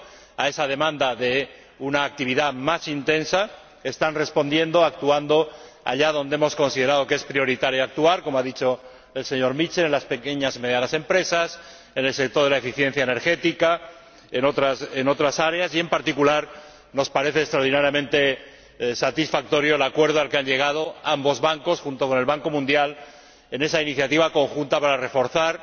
A esa demanda de actividad más intensa, están respondiendo actuando allá donde hemos considerado que es prioritario actuar, como ha dicho el señor Mitchell, en las pequeñas y medianas empresas, en el sector de la eficiencia energética, en otras áreas y, en particular, nos parece extraordinariamente satisfactorio el acuerdo al que han llegado ambos bancos, junto con el Banco Mundial, en esa iniciativa conjunta para reforzar